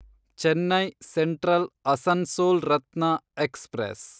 Chennai central Asansol Ratna express